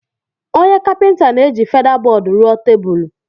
onye Kapịnta na-eji feda-bọọdụ rụọ tebụl